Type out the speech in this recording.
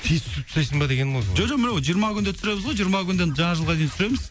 тез түсіріп тастайсың ба дегенім ғой жоқ жиырма күнде түсіреміз ғой жиырма күнде жаңа жылға дейін түсіреміз